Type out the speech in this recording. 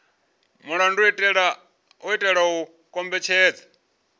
mulandu u itela u kombetshedza